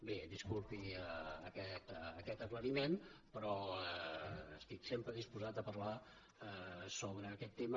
bé disculpi aquest aclariment però estic sempre disposat a parlar sobre aquest tema